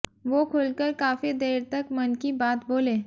वो खुलकर काफी देर तक मन की बात बोले